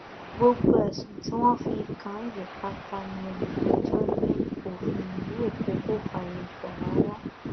gbogbo ẹsùn tí wọn fi kàn án yìí pátá ní olùpẹjọ ní òfin ìlú èkó kò fààyè gbà rárá